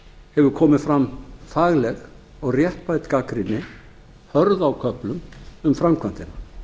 hefur komið fram fagleg og réttmæt gagnrýni hörð á köflum um framkvæmdina